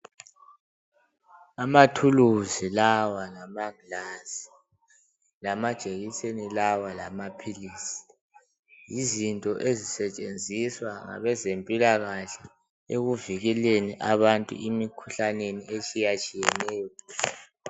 Amathuluzi lawa lamangilazi, lamajekiseni lawa, lamaphilisi. Yizinto ezisetshenziswa ngabezempilakahle ekuvikeleni abantu emikhuhlaneni etshiyatshiyeneyo.,